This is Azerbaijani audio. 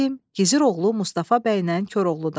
Gizir oğlu Mustafa bəydən Koroğludan.